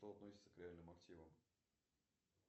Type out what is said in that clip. что относится к реальным активам